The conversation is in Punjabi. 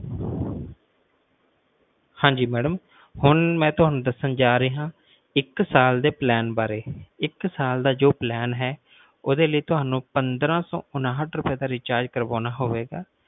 ਹਾਂਜੀ ਮੈਡਮ ਹੁਣ ਮਈ ਤੁਹਾਨੂੰ ਦੱਸਣ ਜਾ ਰਿਹਾ ਇੱਕ ਸਾਲ ਦ plan ਵਾਰੇ ਇੱਕ ਸਾਲ ਦਾ ਜੋ plan ਹੈ ਉਸ ਦੇ ਲਈ ਤੁਹਾਨੂੰ ਪੰਦਰਾਂ ਸੌ ਉਣਹਾਥ ਰੁਪਏ ਦਾ recharge ਕਰਵਾਉਣਾ ਪਏਗਾ